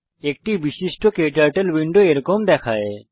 একটি বিশিষ্ট ক্টার্টল উইন্ডো এরকম দেখায়